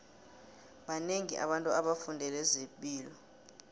banengi abantu abafundele zepilo